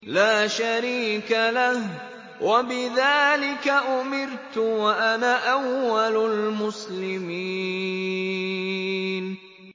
لَا شَرِيكَ لَهُ ۖ وَبِذَٰلِكَ أُمِرْتُ وَأَنَا أَوَّلُ الْمُسْلِمِينَ